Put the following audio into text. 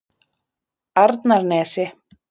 Arnarnesi